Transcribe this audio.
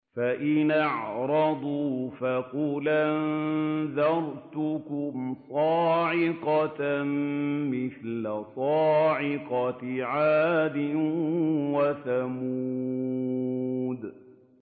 فَإِنْ أَعْرَضُوا فَقُلْ أَنذَرْتُكُمْ صَاعِقَةً مِّثْلَ صَاعِقَةِ عَادٍ وَثَمُودَ